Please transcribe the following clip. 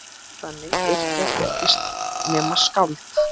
Þannig yrkja ekki nema skáld!